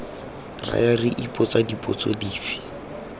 raya re ipotsa dipotso dife